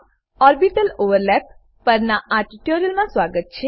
માં orbital overlap પરનાં આ ટ્યુટોરીયલમાં સ્વાગત છે